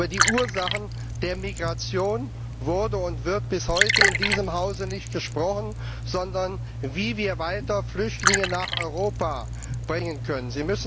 Über die Ursachen der Migration wurde und wird bis heute in diesem Hause nicht gesprochen, sondern darüber, wie wir weiter Flüchtlinge nach Europa bringen können.